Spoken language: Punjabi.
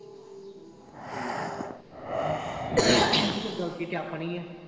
ਠੀਕ ਆ ਹਾਂ ਤੇ ਫਿਰ ਗਲਤੀ ਤੇ ਆਪਣੀ ਆ।